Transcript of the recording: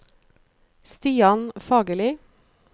Stian Fagerli